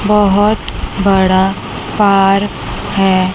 बहोत बड़ा पार्क है।